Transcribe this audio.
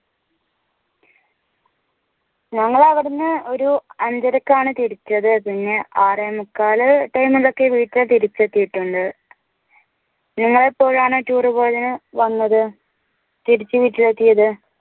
ഞങ്ങള് അവ്ടെന്ന് ഒരു അഞ്ചരക്കാണ് തിരിച്ചത് പിന്നെ ആറേമുക്കാൽ time ഇലൊക്കെ വീട്ടിൽ തിരിച് എത്തീട്ടുണ്ട് നിങ്ങളെപ്പോഴാണ് tour പോയതിൽ വന്നത് തിരിച് വീട്ടിൽ എത്തിയത്